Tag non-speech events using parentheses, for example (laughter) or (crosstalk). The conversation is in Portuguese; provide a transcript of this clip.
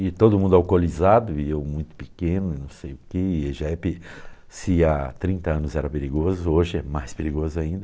e todo mundo alcoolizado, e eu muito pequeno, e não sei o que, (unintelligible) se há trinta anos era perigoso, hoje é mais perigoso ainda.